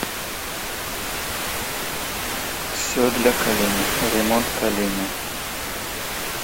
все для калины ремонт калины